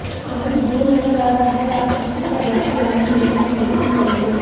आज जो नजर आ रहा है आप उसी का भरपुर आनंद लेने में यकिन करेंगे